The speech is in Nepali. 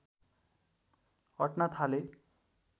अट्न थाले